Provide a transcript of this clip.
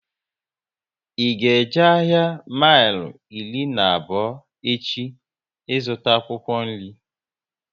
I ga eje ahịa mile iri na abụọ echi ịzụta akwụkwọ nri?